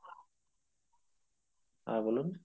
হ্যাঁ বলুন